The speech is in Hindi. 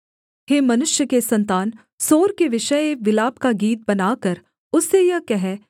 हे मनुष्य के सन्तान सोर के विषय एक विलाप का गीत बनाकर उससे यह कह